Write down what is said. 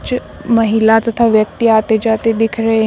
महिला तथा व्यक्ति आते जाते दिख रहे--